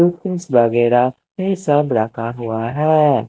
Pins वगेरा ये सब रखा हुआ हैं।